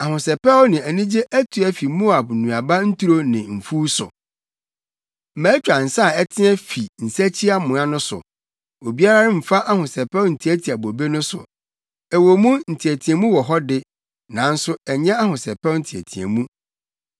Ahosɛpɛw ne anigye atu afi Moab nnuaba nturo ne mfuw so. Matwa nsa a ɛteɛ fi nsakyiamoa no so; obiara mmfa ahosɛpɛw ntiatia bobe no so. Ɛwɔ mu nteɛteɛmu wɔ hɔ de, nanso ɛnyɛ ahosɛpɛw nteɛteɛmu.